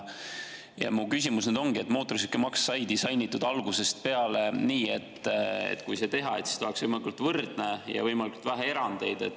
Ja minu küsimus ongi, et mootorsõidukimaks sai disainitud algusest peale nii, et see oleks võimalikult võrdne ja võimalikult vähe oleks erandeid.